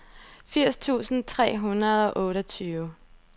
firs tusind tre hundrede og otteogtyve